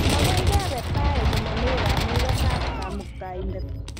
Makoi kebe tai komomi kamuket ab Kamuktaindet